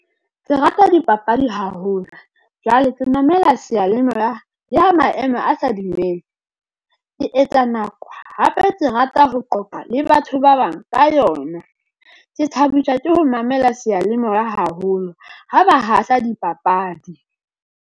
Ke rata dipapadi haholo jwale ke mamela seyalemoya, le ha maemo a sa dumele ke etsa nako hape ke rata ho qoqa le batho ba bang ka yona. Ke thabiswa ke ho mamela seyalemoya haholo ho ba hahla dipapadi.